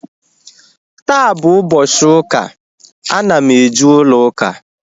Taa bụ ụbọchị ụka, ana m eje ụlọ ụka